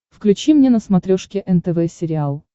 включи мне на смотрешке нтв сериал